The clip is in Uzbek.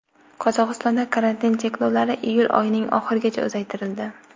Qozog‘istonda karantin cheklovlari iyul oyining oxirigacha uzaytirildi .